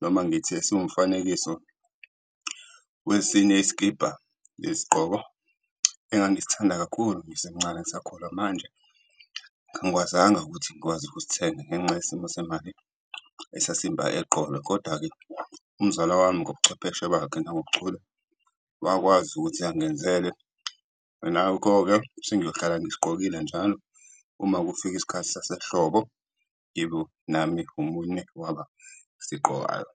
noma ngithi esiwumfanekiso wesinye isikibha nesigqoko engangisithanda kakhulu ngisemncane, ngisakhula. Manje angikwazanga ukuthi ngikwazi ukusithenga ngenxa yesimo semali esasimba eqolo. Kodwa-ke umzala wami ngobuchwepheshe bakhe nangobuchule, wakwazi ukuthi angenzele. Ngakho-ke sengiyohlala ngisigqokile njalo uma kufika isikhathi sasehlobo, ngibe nami omunye wabasiqgokayo.